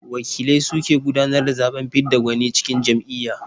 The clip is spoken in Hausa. Wakilai su ke gudanar da zaɓen fidda gwani a cikin jam'iyya.